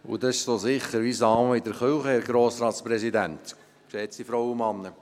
Und das ist so sicher wie das Amen in der Kirche, Herr Grossratspräsident, geschätzte Frauen und Männer.